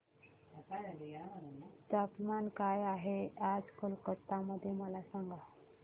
तापमान काय आहे आज कोलकाता मध्ये मला सांगा